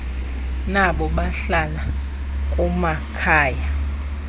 nabo bahlala kumakhaya